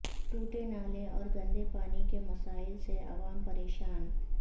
to ٹے نالے اور گندے پانی کے مسائل سے عوام پریشان